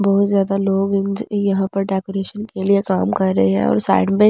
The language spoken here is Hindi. बहुत जादा लोग इंजी यहां पर डाकोरेशन का काम रहे हैं और वहां साइड में वहां--